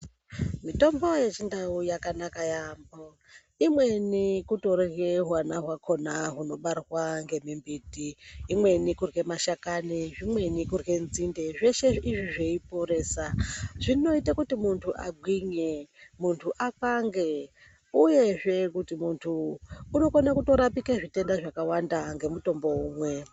Mitombo yechindau yakanaka yaambo, imweni kutorye hwana hwakhona hunobarwa ngemimbuti, imweni kurye mashakani, zvimweni kurye nzinde zveshe izvi zveiporesa. Zvinoite kuti vanthu vagwinye, vanthu vakwange, uyezve muntu unotokona kurapika zvitenda zvakawanda ngemutombo umwe.